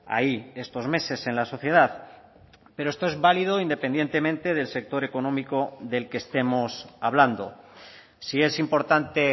ahí estos meses en la sociedad pero esto es válido independientemente del sector económico del que estemos hablando si es importante